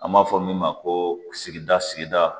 An b'a fɔ min ma ko sigida sigida